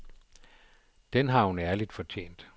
Den har hun ærligt fortjent.